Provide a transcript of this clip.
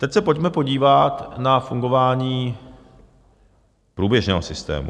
Teď se pojďme podívat na fungování průběžného systému.